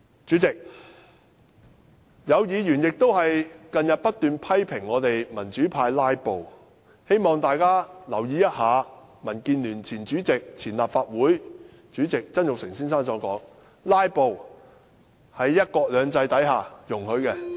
主席，有議員近日不斷批評我們民主派"拉布"，希望大家留意，民建聯前主席兼立法會前主席曾鈺成先生的說話，他說，"拉布"在"一國兩制"下是容許的。